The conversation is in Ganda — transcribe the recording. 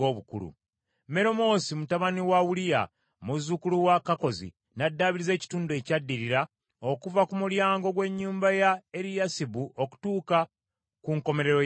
Meremoosi mutabani wa Uliya, muzzukulu wa Kakkozi n’addaabiriza ekitundu ekyaddirira okuva ku mulyango gw’ennyumba ya Eriyasibu okutuuka ku nkomerero yaayo.